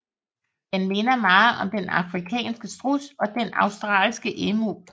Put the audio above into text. Den minder meget om den afrikanske struds og den australske emu